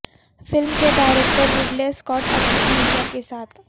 film کے director Ridley Scott اپنی اہلیہ کے ساتھ